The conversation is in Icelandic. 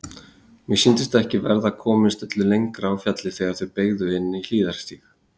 Mér sýndist ekki verða komist öllu lengra á fjallið þegar þeir beygðu inn á hliðarstíg.